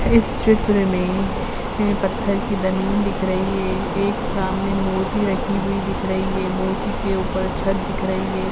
इस चित्र में एं पत्थर की ज़मीन दिख रही है। एक सामने मूर्ति रखी हुई दिख रही है। मूर्ति के उपर छत दिख रही है।